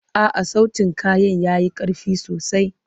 A'a, sautin kayan ya yi ƙarfi sosai.